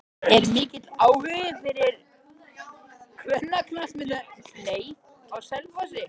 Er mikill áhugi fyrir kvennaknattspyrnu á Selfossi?